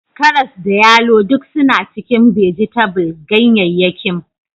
Karas da yalo duk suna cikin bajetabul/gayyayyakim